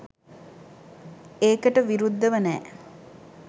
ඒකට විරුද්ධව නෑ